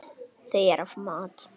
Þau eru af mat.